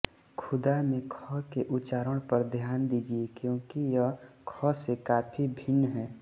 ख़ुदा में ख़ के उच्चारण पर ध्यान दीजिये क्योंकि यह ख से काफ़ी भिन्न है